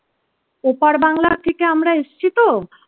ওপার বাংলা থেকে আমরা এসেছি তো